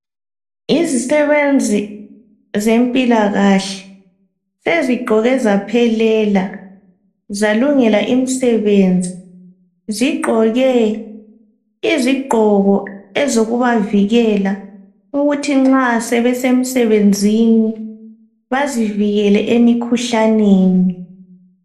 Izisebenzi zempilakahle sezigqoke zaphelela, zalungela imsebenzi. Zigqoke izigqoko ezokubavikela ukuthi nxa sebesemsebenzini, bazivikele emikhuhlaneni.